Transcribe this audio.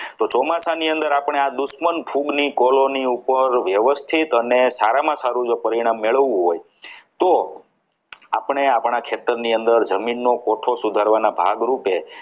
ચોમાસાની અંદર આપણે આ દુશ્મન ફૂગની colony ઉપર વ્યવસ્થિત અને સારામાં સારું જો પરિણામ મેળવવું હોય તો આપણે આપણા ખેતર ની અંદર જમીન નો photo સુધારવાના ભાગરૂપે